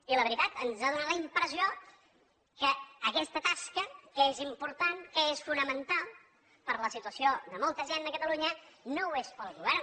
i la veritat ens ha donat la impressió que aquesta tasca que és important que és fonamental per la situació de molta gent a catalunya no ho és pel govern